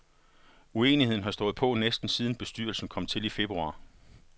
Uenigheden har stået på næsten siden bestyrelsen kom til i februar.